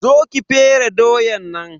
Zo ki fere doyan nan.